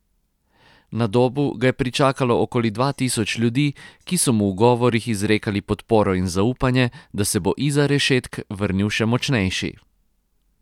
Na Dobu ga je pričakalo okoli dva tisoč ljudi, ki so mu v govorih izrekali podporo in zaupanje, da se bo izza rešetk vrnil še močnejši.